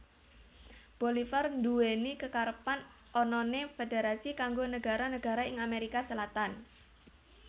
Bolivar nduweni kekarepan anane federasi kanggo negara negara ing Amerika Selatan